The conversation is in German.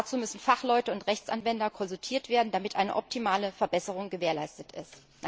Dazu müssen Fachleute und Rechtsanwender konsultiert werden, damit eine optimale Verbesserung gewährleistet ist.